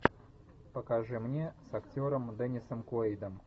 покажи мне с актером денисом куэйдом